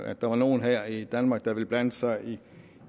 at der var nogle her i danmark der ville blande sig